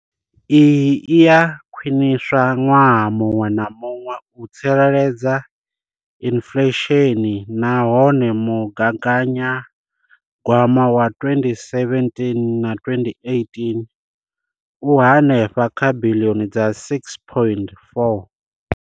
Iyi i a khwiniswa ṅwaha muṅwe na muṅwe u tsireledza inflesheni nahone mugaganyagwama wa 2017,18 u henefha kha biḽioni dza R6.4.